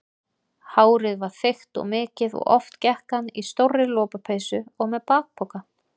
Hárið var þykkt og mikið og oft gekk hann í stórri lopapeysu og með bakpoka.